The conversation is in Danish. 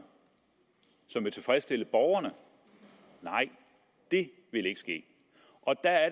som vil kunne tilfredsstille borgerne nej det vil ikke ske og der er